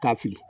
Ka fili